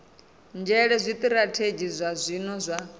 nzhele zwitirathedzhi zwa zwino zwa